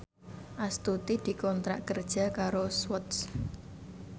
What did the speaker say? Astuti dikontrak kerja karo Swatch